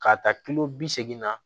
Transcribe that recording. K'a ta kilo bi seegin na